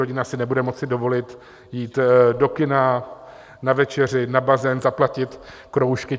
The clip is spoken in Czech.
Rodina si nebude moci dovolit jít do kina, na večeři, na bazén, zaplatit kroužky.